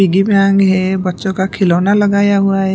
बच्चों का खिलौना लगाया हुआ है।